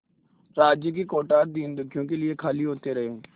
राज्य के कोठार दीनदुखियों के लिए खाली होते रहे